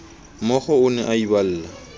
mookgo o ne a iballa